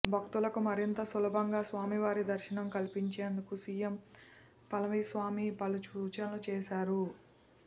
భక్తులకు మరింత సులభంగా స్వామివారి దర్శనం కల్పించేందుకు సిఎం పళనిస్వామి పలు సూచనలు చేశారు